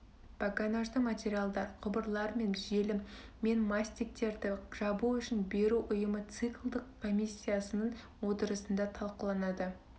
погонажды материалдар құбырлар мен желім мен мастиктерді жабу үшін беру ұйымы циклдық комиссиясының отырысында талқыланады